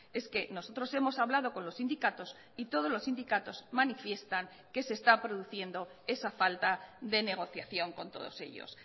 es que nosotros hemos hablado con los sindicatos y todos los sindicatos manifiestan que se está produciendo esa falta de negociación con todos ellos